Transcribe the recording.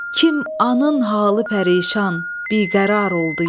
Kim anın halı pərişan biqərar oldu yenə.